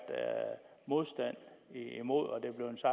modstand imod